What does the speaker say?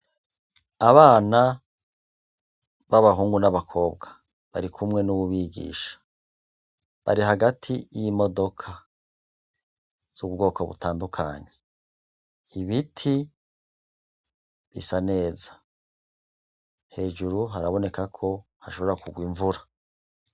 Abana babahungu n' abakobwa bambay' imyambaro yo kwinonor' imitsi barikumwe n' uwubigisha, bari hagati y'imodoka z' ubwoko butandukanye, ibiti bisa neza, hejuru harabonekako hashobora kugw' imvura